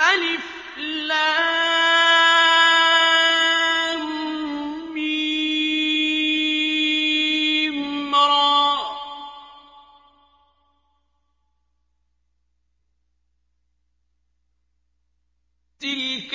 المر ۚ تِلْكَ